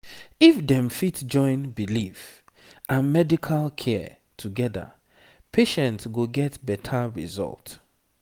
if dem fit join belief and medical care together patient go get better result